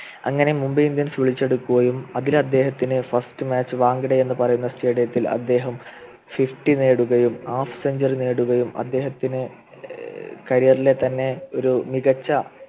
അങ്ങനെ മുംബൈ indians വിളിച്ചെടുക്കുകയും അതിൽ അദ്ദേഹത്തിന് first match വാഗ്ഡേ എന്നുപറയുന്ന Stadium ത്തിൽ അദ്ദേഹം Fifty നേടുകയും Half century നേടുകയും നേടിയും അദ്ദേഹത്തിനെ ഏർ career ലെ തന്നെ ഒരു മികച്ച